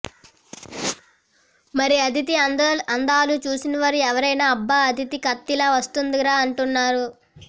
మరి అదితి అందాలు చూసినవారు ఎవరైనా అబ్బా అతిధి కత్తిలా వచ్చేస్తుందిగా అంటున్నారు